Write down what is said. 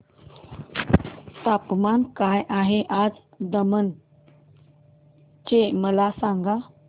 तापमान काय आहे आज दमण चे मला सांगा